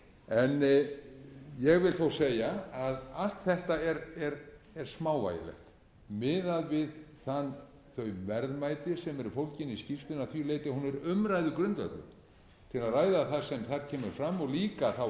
en ég vil þó segja að allt þetta er smávægilegt miðað við þau verðmæti sem eru fólgin í skýrslunni að því leyti að hún er umræðugrundvöllur til að ræða það sem þar kemur fram og líka þá